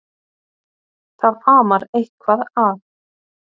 Það amar eitthvað að.